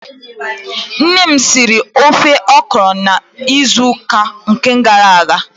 Nne m siri ofe ọkrọ n'izu uka gara aga.